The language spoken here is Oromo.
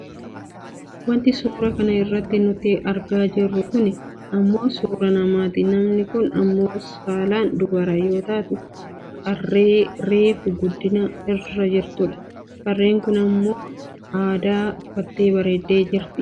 Wanti suuraa kana irratti nuti argaa jirru kunii ammoo suuraa namaati. Namni kun ammoo saalaan dubara yoo taatu, qarree reefu guddina irra jirtudha. Qarreen kun uffata aadaa uffattee bareeddee kan jirtudha.